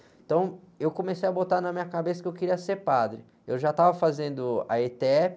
Então, eu comecei a botar na minha cabeça que eu queria ser padre, eu já estava fazendo a etépi,